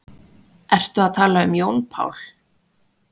Ertu að tala um Jón Pál?